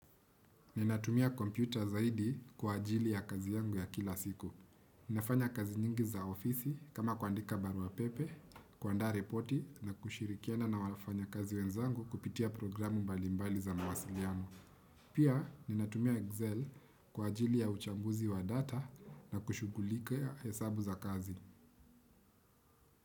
Ninatumia kompyuta zaidi kwa ajili ya kazi yangu ya kila siku. Nafanya kazi nyingi za ofisi kama kuandika barua pepe, kuanda repoti na kushirikiana na wafanyakazi wenzangu kupitia programu mbalimbali za mawasiliano yangu. Pia ninatumia Excel kwa ajili ya uchambuzi wa data na kushugulikia hesabu za kazi.